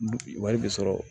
Wari bɛ sɔrɔ